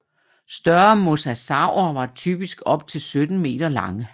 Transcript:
Større mosasaurer var typisk op til 17 meter lange